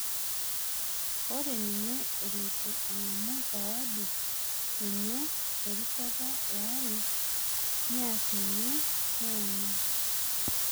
Ore ninye eloito ang'amu sawadi enye erishata eare, niari ninye Neymar